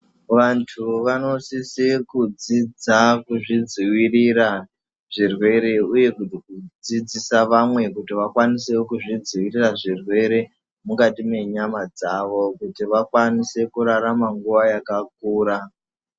Vantu vanosise kudzidza kuzvidzivirira zvirwere uye kudzidzisa vamwe kuti vakwanisewo kuzvidzivirira zvirwere mukati menyama dzavo kuti vakwanise kurarama nguva yakakura.